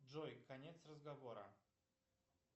джой конец разговора